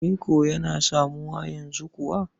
Reko yana samuwa yanzu kuwa?